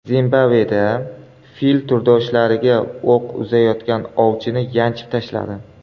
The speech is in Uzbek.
Zimbabveda fil turdoshlariga o‘q uzayotgan ovchini yanchib tashladi.